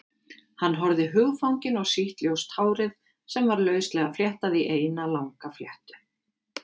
Hann horfði hugfanginn á sítt, ljóst hárið sem var lauslega fléttað í eina langa fléttu.